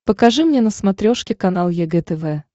покажи мне на смотрешке канал егэ тв